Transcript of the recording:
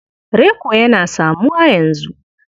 Reko yana samuwa yanzu.